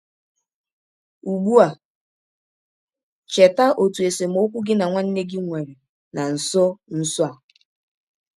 Ụgbụ a, cheta ọtụ esemọkwụ gị na nwanne gị nwere na nsọ nsọ a.